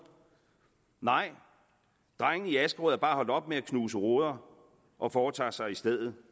nej drengene i askerød er bare holdt op med at knuse ruder og foretager sig i stedet